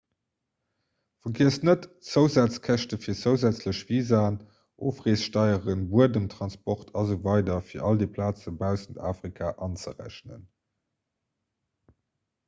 vergiesst net d'zousazkäschte fir zousätzlech visaen ofreessteieren buedemtransport asw fir all déi plaze baussent afrika anzerechnen